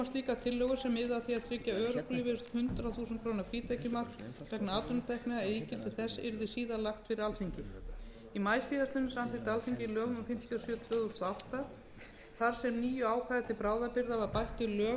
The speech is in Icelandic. slíkar tillögur sem miði að því að tryggja örorkulífeyrisþegum hundrað þúsund króna frítekjumark vegna atvinnutekna eða ígildi þess verði síðar lagðar fyrir alþingi í maí síðastliðnum samþykkti alþingi lög númer fimmtíu og sjö tvö þúsund og átta þar sem nýju ákvæði til bráðabirgða var bætt við lög um